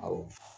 Awɔ